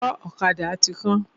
Ọwọ́ ọ̀kada ti kán.